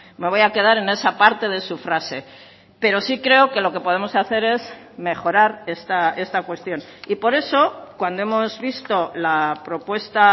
me voy a quedar en esa parte de su frase pero sí creo que lo que podemos hacer es mejorar esta cuestión y por eso cuando hemos visto la propuesta